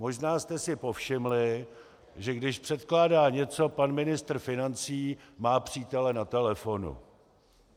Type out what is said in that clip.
Možná jste si povšimli, že když předkládá něco pan ministr financí, má přítele na telefonu.